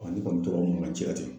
Ɔn ne kɔni tora mankan ci la ten.